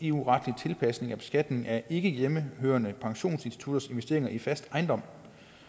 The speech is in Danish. eu retlig tilpasning af beskatning af ikkehjemmehørende pensionsinstitutters investeringer i fast ejendom